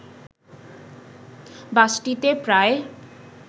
বাসটিতে প্রায়